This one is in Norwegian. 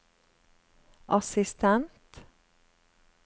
assistent